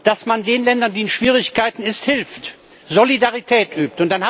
dass man den Ländern, die in Schwierigkeiten sind, hilft, Solidarität übt.